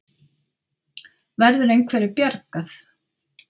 Verður einhverju bjargað?